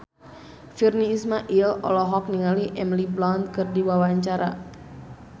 Virnie Ismail olohok ningali Emily Blunt keur diwawancara